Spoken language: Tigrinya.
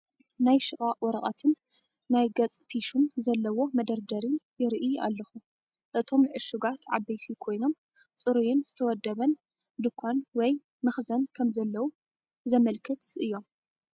ናይ ሽቓቕ ወረቐትን ናይ ገጽ ቲሹን ዘለዎ መደርደሪ ይርኢ ኣለኹ። እቶም ዕሹጋት ዓበይቲ ኮይኖም ጽሩይን ዝተወደበን ድኳን ወይ መኽዘን ከምዘለዉ ዘመልክቱ እዮም።